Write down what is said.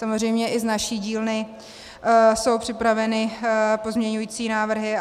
Samozřejmě i z naší dílny jsou připraveny pozměňovací návrhy.